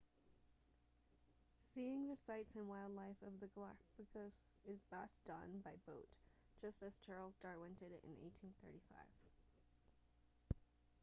seeing the sites and wildlife of the galapagos is best done by boat just as charles darwin did it in 1835